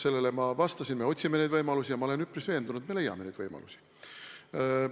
Sellele ma vastasin, et me otsime neid võimalusi, ja ma olen üpris veendunud, et me leiame neid võimalusi.